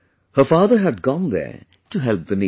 Her father had gone there to help the needy